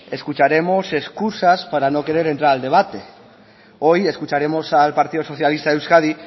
escucharemos excusas para no querer entrar al debate hoy escucharemos al partido socialista de euskadi